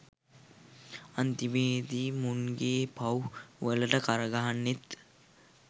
අන්තිමේදී මුන්ගේ පව් වලට කරගහන්නෙත්